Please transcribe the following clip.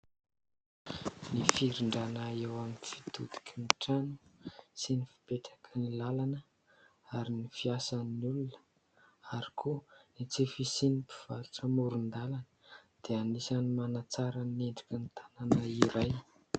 Ny firindrana eo amin'ny fitodiky ny trano sy ny fipetraky ny lalana ary ny fiasan'ny olona ary koa ny tsy fisian'ny mpivarotra amoron-dalana dia anisan'ny manatsara ny endriky ny tanana iray.